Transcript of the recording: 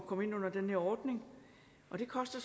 komme ind under den her ordning og det koster